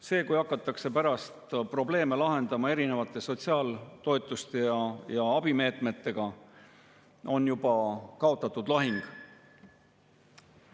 See, kui hakatakse pärast probleeme lahendama erinevate sotsiaaltoetuste ja abimeetmetega, on juba kaotatud lahing.